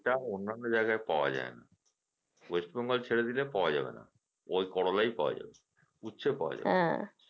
এটা অন্যান্য জায়গায় পাওয়া যায়না West Bengal ছেড়ে দিলে পাওয়া যাবে না ওই করলাই পাওয়া যাবে উচ্ছে পাওয়া যাবে